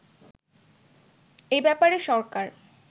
এ ব্যাপারে সরকার